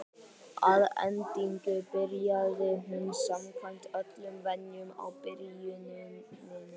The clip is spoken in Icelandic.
Að endingu byrjaði hún samkvæmt öllum venjum á byrjuninni.